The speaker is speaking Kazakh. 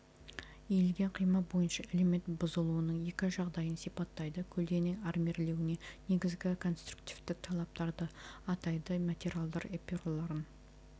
иілген қима бойынша элемент бұзылуының екі жағдайын сипаттайды көлденең армирлеуіне негізгі конструктивтік талатарды атайды материалдар эпюраларын